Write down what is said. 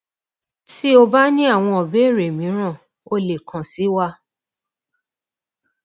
ti o o ba ni awọn ibeere miiran o le kan si wa